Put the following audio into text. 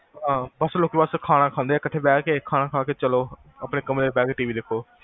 ਹਾਂ ਖਾਨਾ ਖਾਂਦੇ ਆ ਕਠੇ ਬੇਹ ਕੇ ਖਾਨਾ ਖਾ ਕੇ ਚਲੋ, ਆਪਣੇ ਕਮਰੇ ਚ ਬੇਹ ਕ TV ਵੇਖੋ